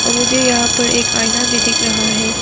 और मुझे यहां पर एक आईना भी दिख रहा है।